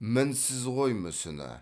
мінсіз ғой мүсіні